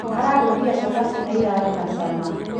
Ararugire cabaci na irarĩ na cama